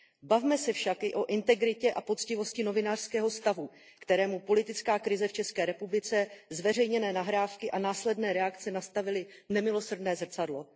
Bavme se však i o integritě a poctivosti novinářského stavu, kterému politická krize v České republice, zveřejněné nahrávky a následné reakce nastavily nemilosrdné zrcadlo.